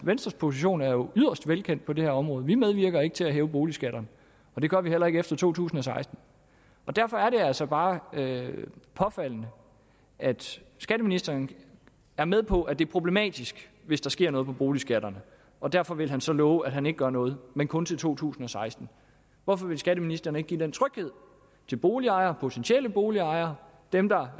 venstres position er jo yderst velkendt på det her område vi medvirker ikke til at hæve boligskatterne og det gør vi heller ikke efter to tusind og seksten derfor er det altså bare påfaldende at skatteministeren er med på at det er problematisk hvis der sker noget med boligskatterne og derfor vil han så love at han ikke gør noget men kun til to tusind og seksten hvorfor vil skatteministeren ikke give den tryghed til boligejere potentielle boligejere dem der